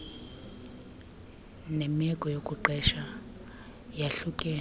nemeko yokuqesha yahlukene